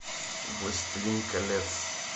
властелин колец